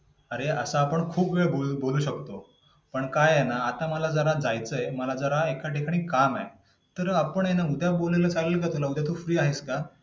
अरे, असं आपण खूप वेळ बोलू शकतो. पण काय आहे ना आता मला जरा जायचंय, मला जरा एका ठिकाणी जरा काम आहे. तर आपण हे ना उद्या बोललं चालेल का तुला? उद्या तू free आहेस का?